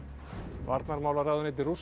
varnarmálaráðuneyti Rússa